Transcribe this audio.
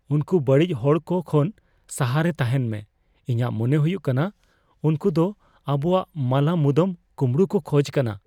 ᱩᱝᱠᱩ ᱵᱟᱹᱲᱤᱡ ᱦᱚᱲᱠᱚ ᱠᱷᱚᱱ ᱥᱟᱦᱟᱲ ᱨᱮ ᱛᱟᱦᱮᱱ ᱢᱮ ᱾ ᱤᱧᱟᱜ ᱢᱚᱱᱮ ᱦᱩᱭᱩᱜ ᱠᱟᱱᱟ ᱩᱝᱠᱩ ᱫᱚ ᱟᱵᱩᱣᱟᱜ ᱢᱟᱞᱟ ᱢᱩᱫᱟᱹᱢ ᱠᱩᱢᱲᱩᱭ ᱠᱚ ᱠᱷᱚᱡ ᱠᱟᱱᱟ ᱾